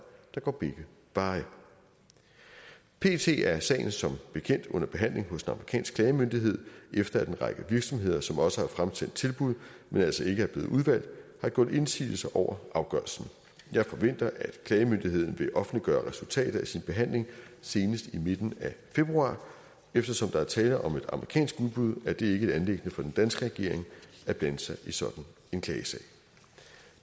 der går begge veje pt er sagen som bekendt under behandling hos den amerikanske klagemyndighed efter at en række virksomheder som også har fremsendt tilbud men altså ikke er blevet udvalgt har gjort indsigelse over afgørelsen jeg forventer at klagemyndigheden vil offentliggøre resultatet af sin behandling senest i midten af februar eftersom der er tale om et amerikansk udbud er det ikke et anliggende for den danske regering at blande sig i sådan en klagesag